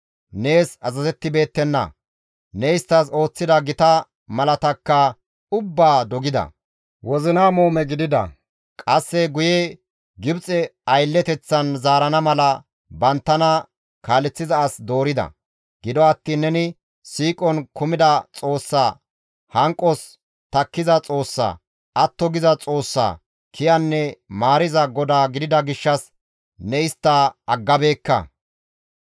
Nees azazettibeettenna; ne isttas ooththida gita malaataakka ubbaa dogida; wozina muume gidida; qasse guye Gibxe aylleteththan zaarana mala banttana kaaleththiza as doorida. Gido attiin neni siiqon kumida Xoossa, hanqos takkiza Xoossa, atto giza Xoossa, kiyanne maariza Godaa gidida gishshas ne istta aggabeekka.